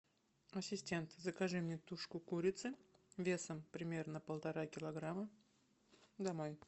ассистент закажи мне тушку курицы весом примерно полтора килограмма домой